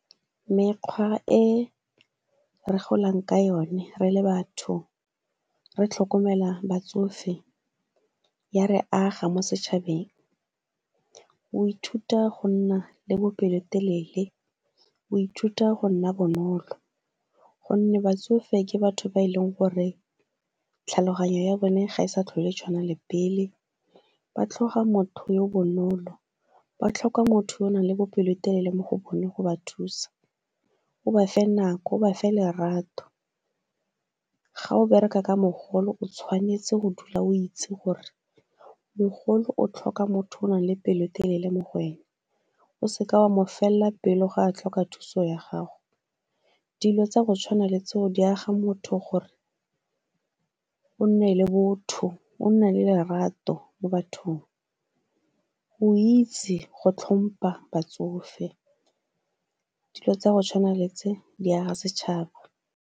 Mekgwa e re golang ka yone re le batho re tlhokomela batsofe ya re aga mo setšhabeng. O ithuta go nna le bopelotelele, o ithuta go nna bonolo gonne batsofe ke batho ba e leng gore tlhaloganyo ya bone ga e sa tlhole e tshwana le pele ba tlhoka motho yo bonolo, ba tlhoka motho yo o nang le bopelotelele mo go bone go ba thusa, o ba fe nako, o ba fa lerato. Ga o bereka ka mogolo o tshwanetse go dula o itse gore mogolo o tlhoka motho yo o nang le pelotelele mo go ene, o seke wa mo felela pelo ga a tlhoka thuso ya gago. Dilo tsa go tshwana le tseo di aga motho gore go nne le botho, o nne le lerato mo bathong o itse go tlhompha batsofe dilo tsa go tshwana le tse di aga setšhaba.